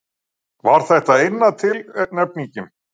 Var þetta eina tilnefningin?